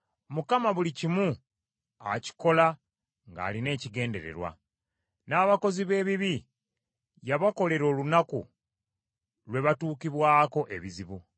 Mukama buli kimu akikola ng’alina ekigendererwa, n’abakozi b’ebibi y’abakolera olunaku lwe batuukibwako ebizibu.